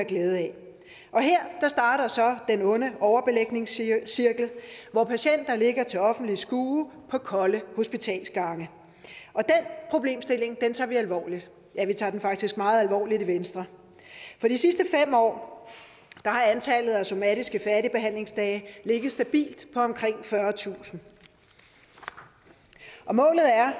glæde af og her starter så den onde overbelægningscirkel hvor patienter ligger til offentligt skue på kolde hospitalsgange og den problemstilling tager vi alvorligt ja vi tager den faktisk meget alvorligt i venstre de sidste fem år har antallet af somatiske færdigbehandlingsdage ligget stabilt på omkring fyrretusind og målet er